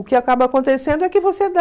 O que acaba acontecendo é que você dá...